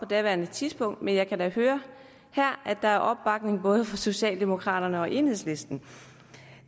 daværende tidspunkt men jeg kan da høre her at der er opbakning både fra socialdemokraterne og enhedslisten